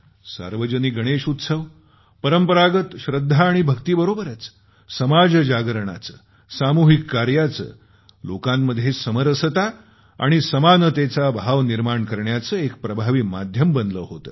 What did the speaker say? सार्वजनिक गणेश उत्सव परंपरागत श्रद्धा आणि भक्तीबरोबरच समाज जागृतीचे सामूहिक कार्याचं लोकांमध्ये समरसता आणि समानतेचा भाव निर्माण करण्याचं एक प्रभावी माध्यम बनलं होतं